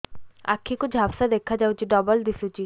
ଆଖି କୁ ଝାପ୍ସା ଦେଖାଯାଉଛି ଡବଳ ଦିଶୁଚି